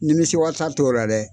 Nimisiwasa t'o la dɛ!